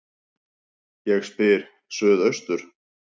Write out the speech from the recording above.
Ég spyr: Suðaustur